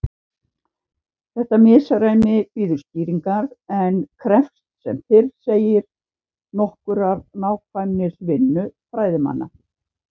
Þetta misræmi bíður skýringar en krefst sem fyrr segir nokkurrar nákvæmnisvinnu fræðimanna.